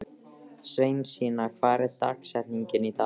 Sveinsína, hver er dagsetningin í dag?